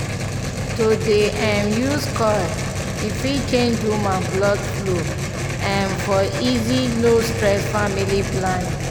to dey um use coil e fit change woman blood flow um for easy no stress family planning. pause small